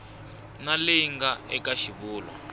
na leyi nga eka xivulwa